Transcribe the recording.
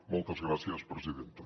moltes gràcies presidenta